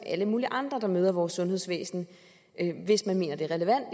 alle mulige andre der møder vores sundhedsvæsen hvis man mener det er relevant